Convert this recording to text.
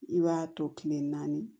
I b'a to kile naani